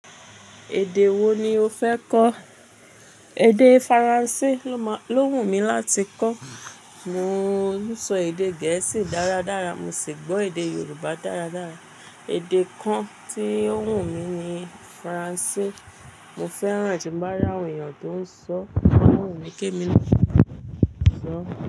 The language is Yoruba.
Èdè wo ni o fẹ́ kọ́? Èdè Faransé ló wù mí láti kọ́. Mò n sọ èdè gẹ̀ẹ́sì dáradára. Mo sì gbọ́ èdè Yorùbá dáradára. Èdè kan tí ó wù mí ni Faransé. Mo fẹ́ràn tí n bá ràwọn èèyàn tó ń sọ, owumi kí emi naa lè sọ.